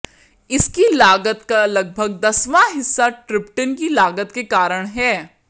इसकी लागत का लगभग दसवां हिस्सा ट्रिप्टन की लागत के कारण है